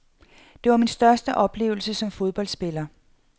Det var min største oplevelse som fodboldspiller.